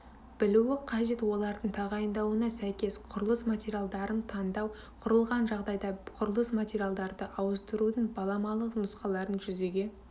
білуі қажет олардың тағайындауына сәйкес құрылыс материалдарын таңдау құрылған жағдайда құрылыс материалдарды ауыстырудың баламалы нұсқаларын жүзеге